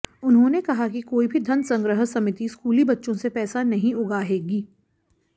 उन्हांेने कहा कि कोई भी धन संग्रह समिति स्कूली बच्चों से पैसा नहीं उगाहेगी